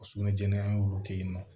Sugunɛ jɛni an y'olu kɛ yen nɔ